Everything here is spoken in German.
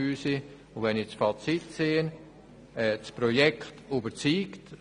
Ziehe ich das Fazit, kann ich sagen, dass das Projekt überzeugt.